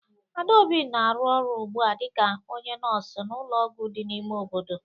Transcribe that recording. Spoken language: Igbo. Adaobi na-arụ ọrụ ugbu a dịka onye nọọsụ n'ụlọọgwụ dị n'ime obodo.